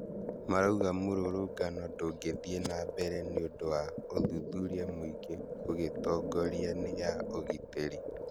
Marauga mũrũrũngano ndũngithie na mbere nĩũndũ wa ũthuthuria mũingĩ ũgĩtongoria nĩ ya ũgitĩri